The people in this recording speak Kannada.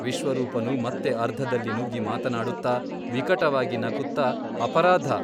ವಿಶ್ವರೂಪನು ಮತ್ತೆ ಅರ್ಧದಲ್ಲಿ ನುಗ್ಗಿ ಮಾತಾಡುತ್ತ ವಿಕಟವಾಗಿ ನಗುತ್ತ ಅಪರಾಧ !